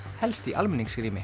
helst í